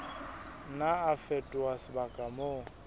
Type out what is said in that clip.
nna a fetoha sebaka moo